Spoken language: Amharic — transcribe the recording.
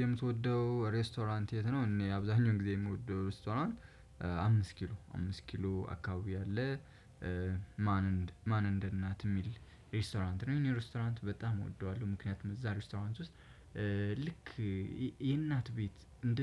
የምትወደው ሬስቶራንት የት ነው? እኔ አብዛኛው ጊዜ የምወደው ሬስቶራንት አምስት ኪሎ አምስት ኪሎ አካባቢ አለ። ማን እንደ እናት የሚል ሬስቶራንት ነው። እኔ ሬስቶራንት በጣም እወደዋለሁ ምክንያቱም እዛ ሪስቶራንት ውስጥ ልክ የእናት ቤት እንደ